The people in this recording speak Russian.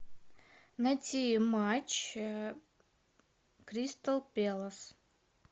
найти матч кристал пэлас